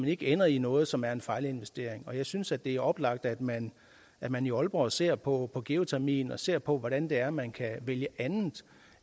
ikke ender i noget som er en fejlinvestering jeg synes at det er oplagt at man at man i aalborg ser på på geotermien og ser på hvordan det er man kan vælge andet